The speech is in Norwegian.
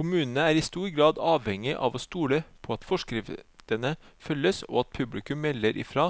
Kommunene er i stor grad avhengig av å stole på at forskriftene følges, og at publikum melder ifra